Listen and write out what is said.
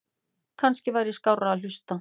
Kannski væri skárra að hlusta